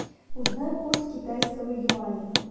узнай курс китайского юаня